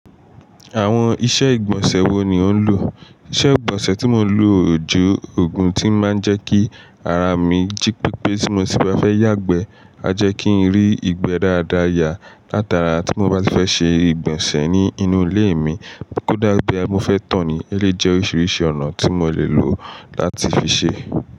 Àwọn iṣẹ́ ìgbọ̀nsẹ̀ wo ni ò ń lò? Iṣẹ́ ìgbọ̀nsẹ̀ tí mò ń lò jẹ́ ògùn tí máa ń jẹ́ kí ara mi jí pípé tí mo sì bá fẹ́ yàgbẹ́. A jẹ́ kí n rí ìgbẹ́ dáadáa yá. Látara tí mo bá ti fẹ́ ṣe ìgbọ̀nsẹ̀ ní inú ilé mi, kódà bóyá mo fẹ́ tó ni, eléyì jẹ́ oríṣiríṣi ọ̀nà tí mò lè lò láti fi ṣe.